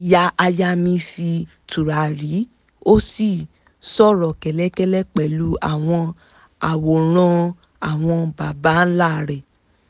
ìyáàyá mi fi tùràrí ó sì ń sòrò kẹ́lẹ́kẹ́lẹ́ pẹ̀lú àwọn àwòrán àwọn baba ńlá rẹ̀